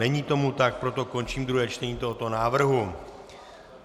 Není tomu tak, proto končím druhé čtení tohoto návrhu.